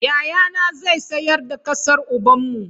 Yayana zai sayar da ƙasar ubanmu.